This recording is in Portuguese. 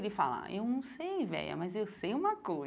Ele fala, eu não sei, véia, mas eu sei uma